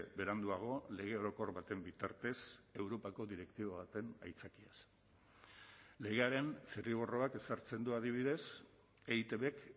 beranduago lege orokor baten bitartez europako direktiba baten aitzakiaz legearen zirriborroak ezartzen du adibidez eitbk